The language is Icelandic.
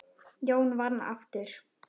Jón vann aftur.